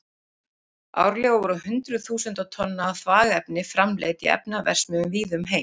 Árlega eru hundruð þúsunda tonna af þvagefni framleidd í efnaverksmiðjum víða um heim.